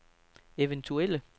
eventuelle